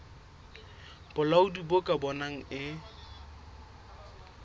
bolaodi bo ka bonang e